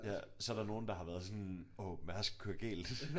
Ja så er der nogle der har været sådan åh Mærsk kører galt